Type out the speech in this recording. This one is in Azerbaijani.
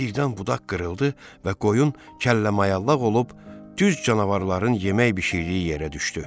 Birdən budaq qırıldı və qoyun kəlləmayallaq olub düz canavarların yemək bişirdiyi yerə düşdü.